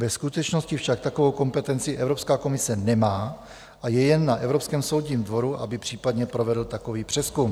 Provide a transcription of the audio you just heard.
Ve skutečnosti však takovou kompetenci Evropská komise nemá a je jen na Evropském soudním dvoru, aby případně provedl takový přezkum.